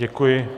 Děkuji.